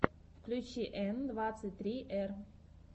включи н двадцать три р